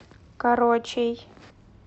корочей